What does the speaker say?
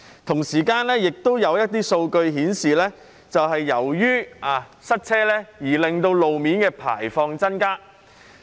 同時，亦有一些數據顯示，由於塞車而令路面的排放量增加。